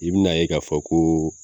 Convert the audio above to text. I bi na ye k'a fɔ koo